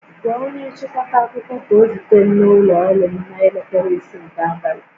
Gwa onye nchịkọta akụkọ ka ọ zute m n'ụlọ ọrụ m n'elekere isii nke abalị!